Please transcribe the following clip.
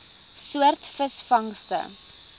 soort visvangste